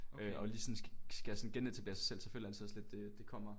Øh og lige sådan skal sådan genetablere sig selv så føler jeg altid også lidt det kommer